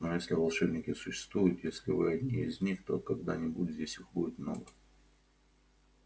но если волшебники существуют если вы одни из них то когда-нибудь здесь их будет много